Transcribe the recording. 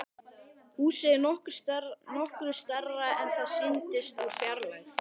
Húsið er nokkru stærra en það sýndist úr fjarlægð.